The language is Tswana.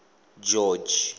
george